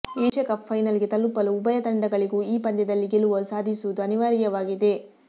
Asia Cup ಫೈನಲ್ಗೆ ತಲುಪಲು ಉಭಯ ತಂಡಗಳಿಗೂ ಈ ಪಂದ್ಯದಲ್ಲಿ ಗೆಲುವು ಸಾಧಿಸುವುದು ಅನಿವಾರ್ಯವಾಗಿದೆ